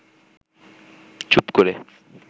চুপ করে